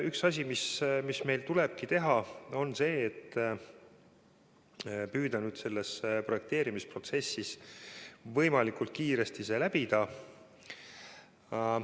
Üks asi, mida meil tuleb teha, on see, et püüda see projekteerimisprotsess võimalikult kiiresti läbida.